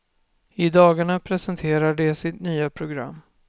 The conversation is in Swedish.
I dagarna presenterar de sitt nya program.